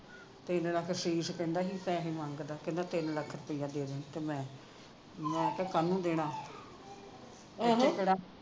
ਤਿੰਨ ਲੱਖ ਅਸ਼ੀਸ਼ ਕਹਿੰਦਾ ਵੀ ਪੈਸੇ ਮੰਗਦਾ ਕਹਿੰਦਾ ਤਿੰਨ ਲੱਖ ਰੁਪਿਆ ਦੇ ਦੇਣ ਤਾਂ ਮੈਂ ਮੈਂ ਕਿਹਾ ਕਾਹਨੂੰ ਦੇਣੇ